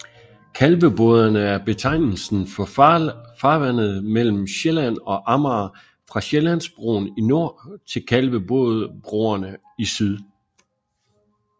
Kalveboderne er betegnelsen for farvandet mellem Sjælland og Amager fra Sjællandsbroen i nord til Kalvebodbroerne i syd